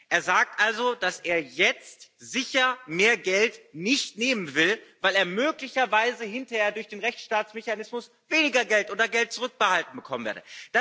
Er sagt also, dass er jetzt sicher nicht mehr Geld nehmen will, weil er möglicherweise hinterher durch den Rechtsstaatmechanismus weniger Geld oder Geld zurückbehalten bekommen werde.